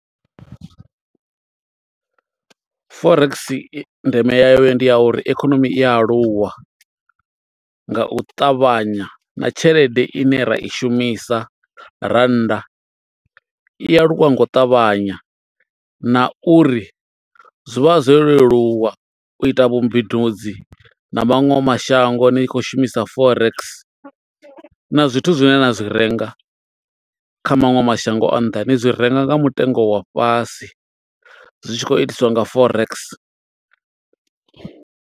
Forex ndeme ya yo ndi ya uri ikonomi i a aluwa nga u ṱavhanya, na tshelede ine ra i shumisa rannda, i aluwa nga u ṱavhanya. Na uri zwi vha zwo leluwa, u ita vhumbindudzi na maṅwe mashango ni khou shumisa forex. Na zwithu zwine na zwi renga kha maṅwe mashango a nnḓa, ni zwi renga nga mutengo wa fhasi. Zwi tshi khou itiswa nga forex.